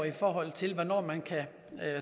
i forhold til hvornår man kan